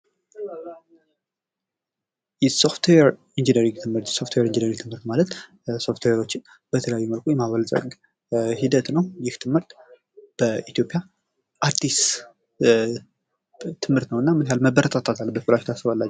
የሶፍትዌር ኢንጂነሪንግ ትምህርት ፦ ሶፍትዌር ኢንጂነሪንግ ትምህርት ማለት ሶፍትዌሮችን በተለያየ መንገድ የማበልፀግ ሂደት ነው ። ይህ ትምህርት በኢትዮጵያ አዲስ ትምህርት ነው እና ምን ያክል መበረታታት አለበት ብላችሁ ታስባላችሁ ?